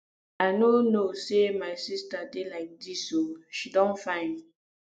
i no know say my sister dey like dis oo she don fine